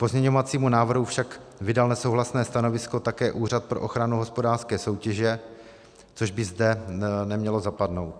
K pozměňovacímu návrhu však vydal nesouhlasné stanovisko také Úřad pro ochranu hospodářské soutěže, což by zde nemělo zapadnout.